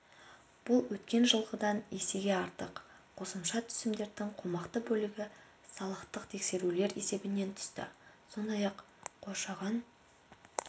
бұл өткен жылғыдан есеге артық қосымша түсімдердің қомақты бөлігі салықтық тексерулер есебінен түсті сондай-ақ қоршаған